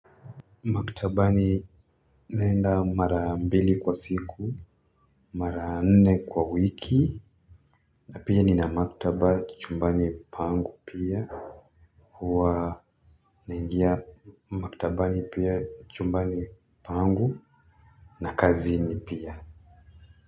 Maktabani naenda mara mbili kwa siku, mara nne kwa wiki, na pia nina maktaba chumbani pangu pia. Huwa naingia maktabani pia chumbani pangu. Na kazini pia.